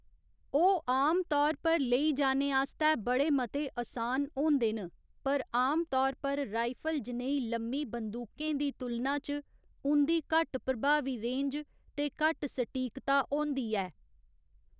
ओह् आम तौर पर लेई जाने आस्तै बड़े मते असान होंदे न, पर आमतौर पर राइफल जनेही लम्मी बंदूकें दी तुलना च उं'दी घट्ट प्रभावी रेंज ते घट्ट सटीकता होंदी ऐ।